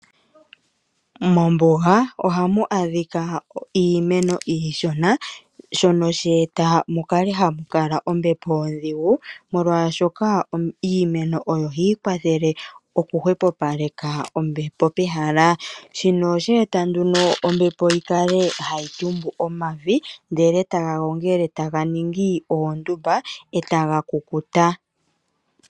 Mombuga ohamu adhika iimeno iishona shono she eta mukale hamu kala ombepo ondhigu molwaashoka iimeno oyo hayi kwathele oku hwepopaleka ombepo pehala. Shino oshe eta nduno ombepo yikale hayi tumbu omavi ndele taga gongele eta ga ningi ondumba etaga kukuta.